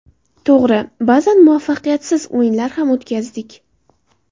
To‘g‘ri, ba’zan muvaffaqiyatsiz o‘yinlar ham o‘tkazdik.